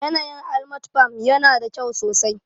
Yanayin Almat farm yana da kyau sosai